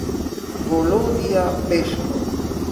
Volodja Peškov?